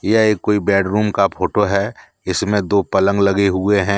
यह एक कोई बेडरूम का फोटो है इसमें दो पलंग लगे हुए हैं।